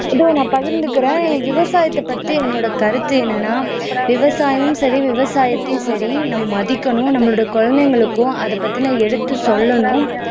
ஆஹ் இதோ நான் பகிர்ந்துக்கிறேன் என் விவசாயத்தைப் பத்தி என்னோட கருத்து என்னன்னா விவசாயமும் சரி விவசாயத்தையும் சரி நம்ம மதிக்கணும் நம்மளுடைய குழந்தைகளுக்கும் அதைப் பத்தின எடுத்துச் சொல்லணும்